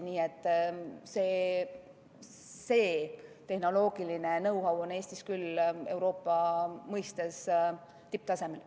Nii et see tehnoloogiline know-how on Eestis küll Euroopa mõistes tipptasemel.